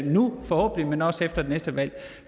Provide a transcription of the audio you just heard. nu forhåbentlig men også efter det næste valg